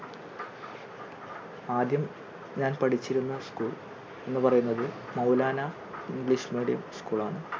ആദ്യം ഞാൻ പഠിച്ചിരുന്ന school എന്ന് പറയുന്നത് മൗലാന English medium school ആണ്.